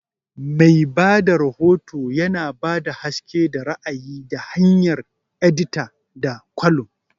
Mai ba da rahoto yana ba da haske da ra'ayi ta hanyar edita da columns.